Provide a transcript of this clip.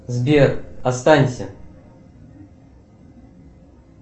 сбер останься